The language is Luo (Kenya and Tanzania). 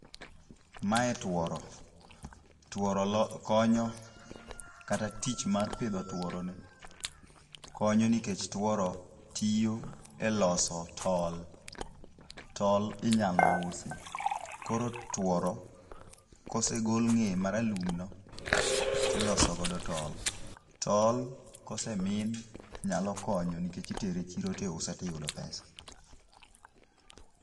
Mae tworo. Tworo konyo, kata tich mar pidho tworo ni konyo nikech tworo tiyo e loso tol. Tol inyalo usi. Koro tworo kosegol ng'eye ma ralum no, tiloso godo tol. Tol kosemin nyalo konyo nikech itere chiro tiuse tiyudo pesa.